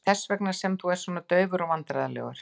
Er það þess vegna sem þú ert svona daufur og vandræðalegur?